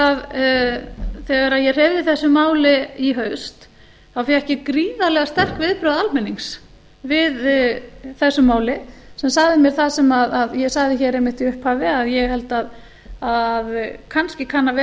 að þegar ég hreyfði þessu máli í haust þá fékk ég gríðarlega sterk viðbrögð almennings við þessu máli sem sagði mér það sem ég sagði hér einmitt í upphafi að ég held að kannski kann að vera